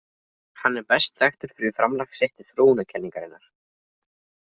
Hann er best þekktur fyrir framlag sitt til þróunarkenningarinnar.